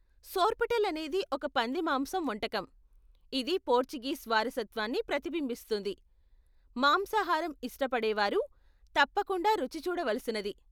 సోర్పోటెల్ అనేది ఒక పంది మాంసం వంటకం, ఇది పోర్చుగీస్ వారసత్వాన్ని ప్రతిబింబిస్తుంది, మాంసాహారం ఇష్టపడేవారు తప్పకుండ రుచి చూడ వలసినది.